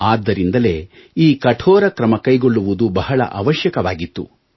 ಆದ್ದರಿಂದಲೇ ಈ ಕಠೋರ ಕ್ರಮ ಕೈಗೊಳ್ಳುವುದು ಬಹಳ ಅವಶ್ಯಕವಾಗಿತ್ತು